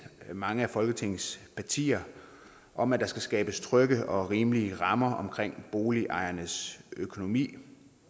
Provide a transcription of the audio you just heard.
mange af folketingets partier om at der skal skabes trygge og rimelige rammer omkring boligejernes økonomi